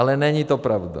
Ale není to pravda.